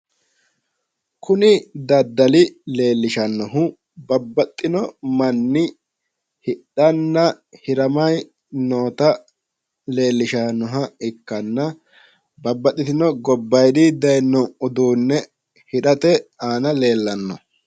Kuni daddali leellishannohu babbaxxino manni hidhanna hiramayi noota leellishannoha ikkanna babbaxxino gobbayidinni dayino uduunne hirate aana leellanno.